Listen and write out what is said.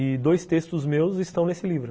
E dois textos meus estão nesse livro.